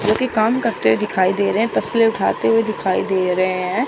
क्योंकि काम करते दिखाई दे रहे हैं तसले उठाते हुए दिखाई दे रहे हैं।